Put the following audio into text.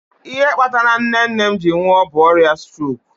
Ihe kpatara nne nne m ji nwuo bụ ọrịa strok